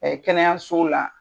kɛnɛyaso la.